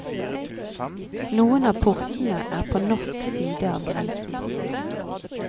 Noen av portene er på norsk side av grensen.